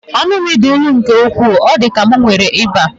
Ọnụ m dị ilu nke ukwuu, ọ dịkwa ka m nwere ịba.